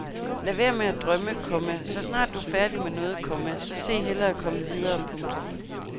Lad være med at dømme, komma så snart du er færdig med noget, komma så se hellere at komme videre. punktum